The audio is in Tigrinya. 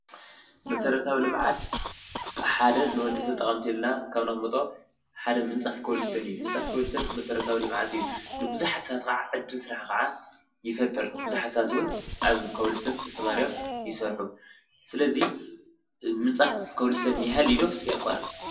መሠረታዊ ልምዓት ሓደ ንወዲ ሰብተጠቐምቲ ኢልና ካብ ነቐምጦ ሓደ ምንፃፍ ኮብልስተን እዩ፡፡ ምንጻፍ ኮውልስቶን መሠረታዊ ልምዓት እዩ፡፡ ንብዙሓት ሰባት ኸዓ ዕድል ስራሕ ኸዓ ይፈጥር፡፡ ብዙሓት ሰባት ውን ኣብ ከውልስቶን ተሰማርዮም ይስርሑ፡፡ ስለዙይ ምንጻፍ ከውልሰቶን የሃሊ ዶስ የቋርፅ?